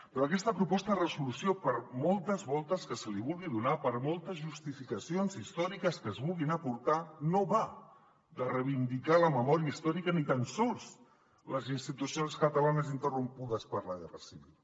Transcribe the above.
però aquesta proposta de resolució per moltes voltes que se li vulgui donar per moltes justificacions històriques que es vulguin aportar no va de reivindicar la memòria històrica ni tan sols les institucions catalanes interrompudes per la guerra civil